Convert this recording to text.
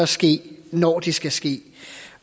ske når det skal ske